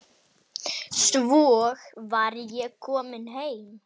Svo var ég komin heim.